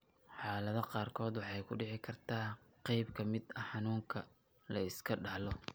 Xaaladaha qaarkood, waxay ku dhici kartaa qayb ka mid ah xanuunka la iska dhaxlo.